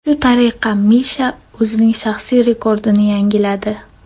Shu tariqa Misha o‘zining shaxsiy rekordini yangiladi.